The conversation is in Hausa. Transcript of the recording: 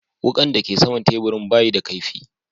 Wukan da ke sama'n taburin ba yi da kaifi.